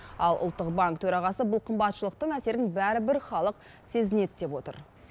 ал ұлттық банк төрағасы бұл қымбатшылықтың әсерін бәрібір халық сезінеді деп отыр